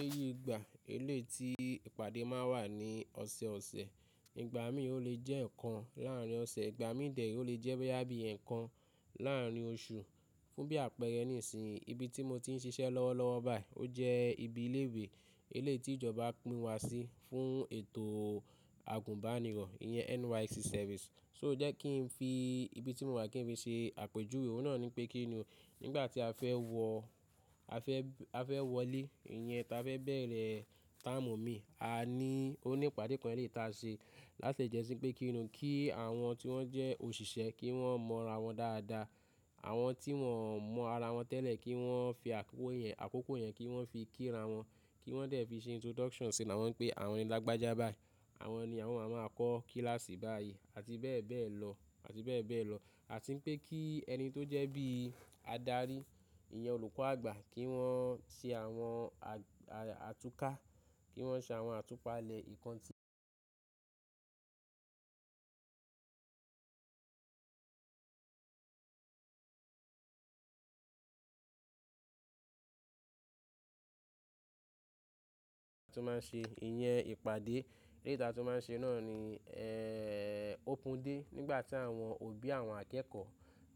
Èyí ìgbà, elé ti ìpàdé máa ń wà ní ọ̀sẹ̀ ọ̀sẹ̀. Ìgbà mí ò lè jẹ́ ẹ̀kan láàrin ọ̀sẹ̀, ìgbà mí dè re ò lè jẹ́ boya bí i ẹ́ẹ̀kan láàrin oṣù. Fún bí àpẹẹrẹ nísìnyí, ibi tí mo ti ń ṣiṣẹ́ lọ́wọ́ lọ́wọ́ báyìí ó jẹ́ ibi ilé ìwé, elé tí ìjọba pín wa sí fún ètò àgùnbánirọ̀, ìyẹn NYSC service. So jẹ́ kí n fi ibi tí mo wà kí n fi ṣe àpèjúwe. Òun náà ní pé kí ni o. Nígbà tí a fẹ́ wọ, a fẹ́, a fẹ́ wọlé, ìyẹn táa fẹ́ bẹ̀rẹ̀ term mi, a ní, ó ní ìpàdé kan elé táa ṣe láti jásí pé kí ni o, kí àwọn tí wọ́n jẹ́ òṣìṣẹ́ kí wọ́n mọ ara wọn dáadáa. Àwọn tí wọon mọ ara wọn tẹ́lẹ̀ kí wọ́n fi àkókò yẹn, àkókò yẹn kí wọ́n fi kí ra wọn, kí wọ́n dè fi ṣe introduction sínu àwọn pé àwọn ni alágbájá báyìí, àwọn ni àwọn amá kọ kíláàsì báyìí àti bẹ́ẹ̀ bẹ́ẹ̀ lọ, àti bẹ́ẹ̀ bẹ́ẹ̀ lọ. Àti ń pé kí ẹni tó jẹ́ bí i adarí, ìyẹn olùkọ́ àgbà kí wọ́n ṣe àwọn àtúká, kí wọ́n ṣe àwọn àtúpalẹ̀ ìkán tí tó máa ń ṣe, ìyẹn ìpàdé elé táa tu máa ń ṣe náà ni, ẹ́ẹ́, ópén day nígbà tí àwọn òbí àwọn akẹ́kọ̀ọ́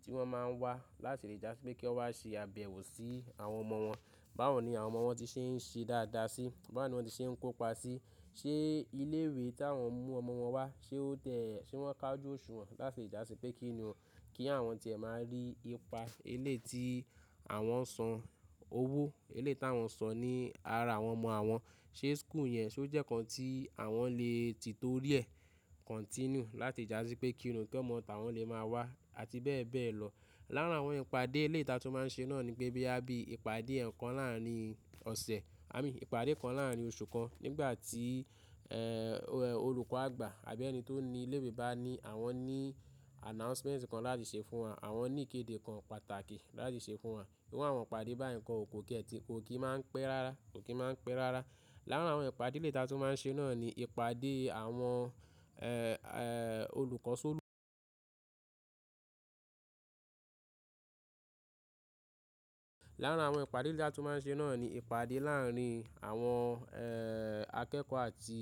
tí wọ́n máa ń wá láti lè jà sí pé kí wọ́n wá ṣe àbẹ̀wò sí àwọn ọmọ wọn. Báwo ni àwọn ọmọ wọn ti ṣe ń ṣe dáadáa sí, báwo ni wọ́n ti ṣe ń kópa sí, ṣé ilé ìwé tí àwọn mú ọmọ wọn wá, ṣé ó tẹ́ ẹ, ṣé wọ́n kà ojù òṣùwọ̀n láti ìjà sí pé kí ni o. Kí àwọn tìẹ̀ máa rí ipa elé tí àwọn san owó, elé tí àwọn san ní ara àwọn ọmọ àwọn, ṣé school yẹn ṣé ó jẹ́ nǹkan tí àwọn lè ti tó rí ẹ, continue láti lè jà sí pé kí ni ò kí omọ́ táwọn lè máa wá àti bẹ́ẹ̀ bẹ́ẹ̀ lọ. Lára àwọn ìpàdé elé táa tó máa ń ṣe náà ni pé boya bí ìpàdé ẹ̀kan láàrin ọ̀sẹ̀, à mí ìpàdé kan láàrin oṣù kan nígbà tí, ẹ́ẹ́, olùkọ́ àgbà àbí ẹni tó ní ilé ìwé bá ní àwọn ní announcement kan láti ṣe fún wa, àwọn ní ìkéde kan pàtàkì láti ṣe fún wa. Àwọn ìpàdé bá yen koo kò kí ẹ ti, kò kí máa ń pẹ́ rárá, kò kí máa ń pẹ́ rárá. Lára àwọn ìpàdé elé táa tu máa ń ṣe náà ni ìpàdé àwọn, ẹ́ẹ́, olùkọ́ sólu Lára àwọn ìpàdé elé táa tu máa ń ṣe náà ni ìpàdé láàrin àwọn, ẹ́ẹ́, akẹ́kọ̀ọ́ àti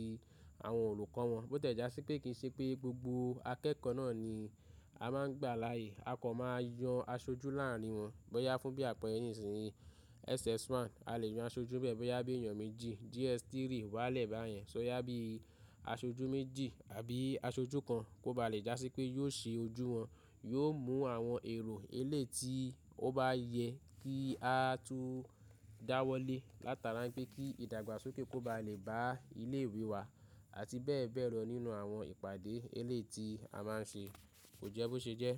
àwọn olùkọ́ wọn. Bó tẹ́ já sí pé kì í ṣe pé gbogbo akẹ́kọ̀ọ́ náà ni a máa ń gbà láàyè. A kọ̀ máa yan aṣojú láàrin wọn. Bó yá fún bí àpẹrẹ nísìnyí, SS1 a lè yan aṣojú bẹ́ẹ̀ bó yá bí èèyàn méjì, JS3 wá lẹ̀ bá yẹn. So yá bí i aṣojú méjì àbí aṣojú kan kó ba lè já sí pé yóò ṣe ojú wọn, yóò mú àwọn èrò elé tí ó bá yẹ kí á tu dáwọ́lé látara pé kí ìdàgbàsókè kó ba lè bá ilé ìwé wá àti bẹ́ẹ̀ bẹ́ẹ̀ lọ nínú àwọn ìpàdé elé tí a máa ń ṣe. Kò jẹ́ bó ṣe jẹ́?